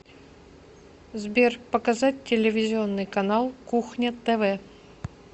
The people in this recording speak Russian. сбер показать телевизионный канал кухня тв